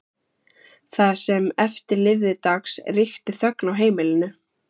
Það sem eftir lifði dags ríkti þögn á heimilinu.